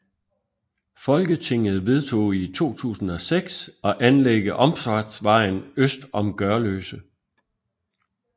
Folketinget vedtog i 2006 at anlægge omfartsvejen øst om Gørløse